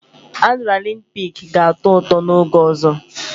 Adrịnalịn piiki ga-atọ ụtọ n'oge ọzọ